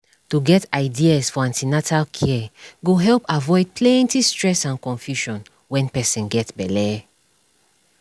to get ideas for an ten atal care go help avoid plenty stress and confusion when person get belle